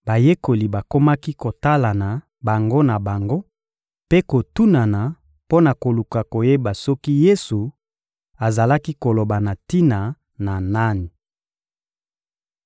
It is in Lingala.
Bayekoli bakomaki kotalana bango na bango mpe kotunana mpo na koluka koyeba soki Yesu azalaki koloba na tina na nani.